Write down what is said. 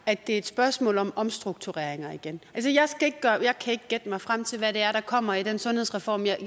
at det er et spørgsmål om omstruktureringer igen jeg kan ikke gætte mig frem til hvad det er der kommer i den sundhedsreform jeg